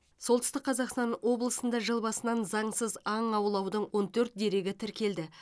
солтүстік қазақстан облысында жыл басынан заңсыз аң аулаудың он төрт дерегі тіркелді